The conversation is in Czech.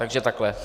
Takže takhle.